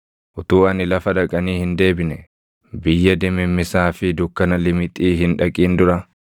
utuu ani lafa dhaqanii hin deebine, biyya dimimmisaa fi dukkana limixii hin dhaqin dura,